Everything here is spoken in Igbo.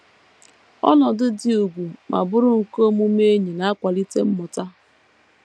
Ọnọdụ dị ùgwù ma bụrụ nke omume enyi na - akwalite mmụta